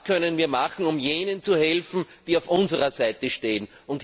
Was können wir machen, um jenen zu helfen, die auf unserer Seite stehen?